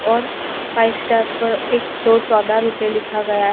और five star में एक सौ चौदह रुपय लिखा हुआ है।